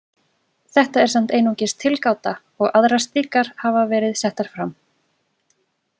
Þetta er samt einungis tilgáta og aðrar slíkar hafa verið settar fram.